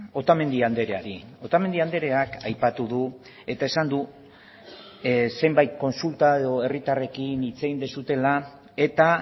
otamendi andreari otamendi andreak aipatu du eta esan du zenbait kontsulta edo herritarrekin hitz egin duzuela eta